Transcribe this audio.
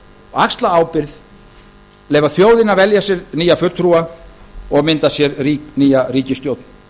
axla ábyrgð leyfa þjóðinni að velja sér nýja fulltrúa og mynda sér nýja ríkisstjórn